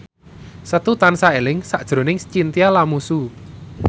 Setu tansah eling sakjroning Chintya Lamusu